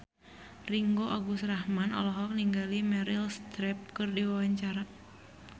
Ringgo Agus Rahman olohok ningali Meryl Streep keur diwawancara